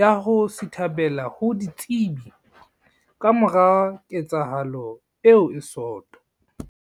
ya ho sithabela ho ditsebi kamora ketsahalo eo e soto.